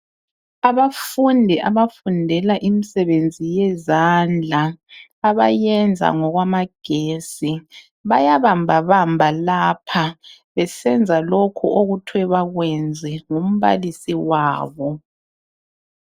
Abafundi abafundela imisebenzi yezandla. Abayenza ngokwamagesi bayabambabamba lapha beseza lokhu okuthwe bakwenze ngumbalisi wabo.